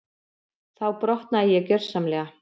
Þá brotnaði ég gjörsamlega.